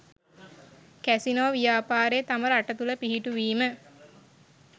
casino ව්‍යාපාරය තම රට තුළ පිහිටුවීම